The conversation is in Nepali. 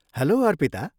हेल्लो, अर्पिता।